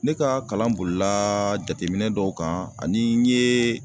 Ne ka kalan bolilaa jateminɛ dɔw kan ani n yee